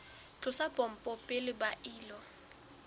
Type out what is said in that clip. tlosa pompo pele ba ilo